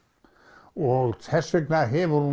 og þess vegna hefur hún